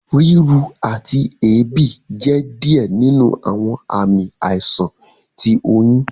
Riru ati eebi jẹ diẹ ninu awọn aami aisan ti oyun.